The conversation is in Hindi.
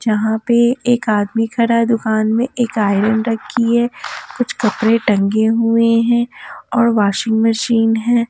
यहाँ पे एक आदमी खड़ा है दुकान में एक आयरन रखी है कुछ कपड़े टंगे हुए हैं और वाशिंग मशीन है।